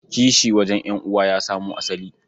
Kishi wajen ƴan'uwa ya samo asali.